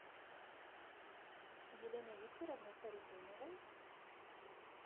еленой викторовной харитоновой